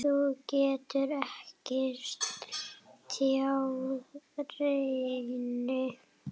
Þú getur ekki tjáð reiði.